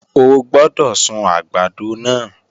O gbọ́dọ̀ sun àgbàdo náà!